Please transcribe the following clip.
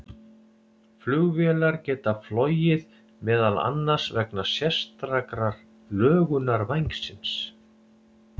flugvélar geta flogið meðal annars vegna sérstakrar lögunar vængsins